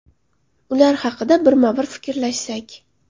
Ular haqida birma-bir fikrlashsak.